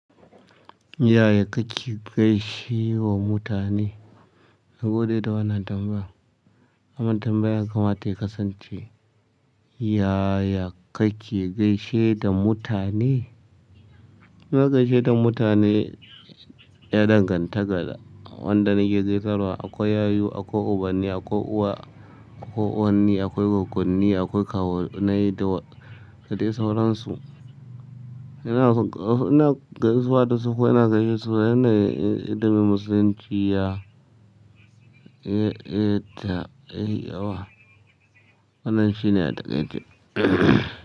Yaya kake gaishe wa mutane? Na gode da wannan tambaya. Aman tambayar ha kamata ya kasance, yaya kake gaishe da mutane? Ina gaishe da mutane ya danganta da wanda nake gaisarwa. Akwai yayu, akwai ubanni, akwai uwa, akwai uwanne, akwai goggonni, akwai kawunnai da dai sauransu. Ina gaisawa da su kuma ina gaishe su yana da addabin musulunci ya, eh, ta, eh, awa. Wannan shine ya takaice.